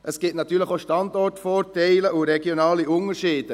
Es gibt natürlich auch Standortvorteile und regionale Unterschiede.